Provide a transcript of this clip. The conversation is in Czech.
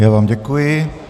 Já vám děkuji.